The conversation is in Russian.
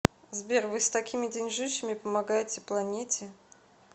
сбер вы с такими деньжищами помогаете планете